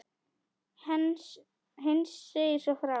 Heinz segir svo frá: